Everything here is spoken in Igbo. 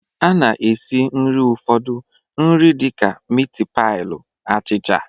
A na-esi nri ụfọdụ nri dịka miti pailu, achicha